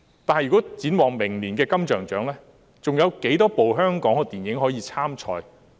但展望明年的金像獎，還有多少齣香港電影可以參賽？